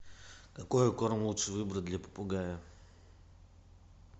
какой корм лучше выбрать для попугая